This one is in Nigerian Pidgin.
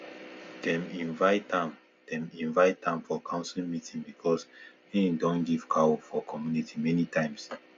dem invite am dem invite am for council meeting because him don give cow for community many times